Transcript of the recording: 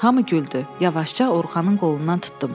Hamı güldü, yavaşca Orxanın qolundan tutdum.